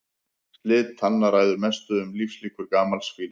Slit tanna ræður mestu um lífslíkur gamals fíls.